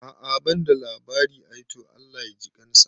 A'a banda labari ai, to Allah ya jikansa